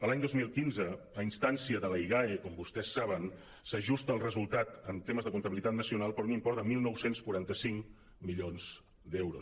l’any dos mil quinze a ins·tància de la igae com vostès saben s’ajusta el resultat en temes de comptabilitat nacional per un import de dinou quaranta cinc milions d’euros